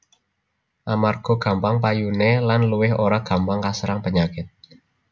Amarga gampang payuné lan luwih ora gampang kaserang penyakit